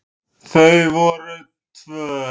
Þau voru tvö.